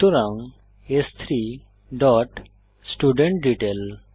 সুতরাং স্3 dot student detail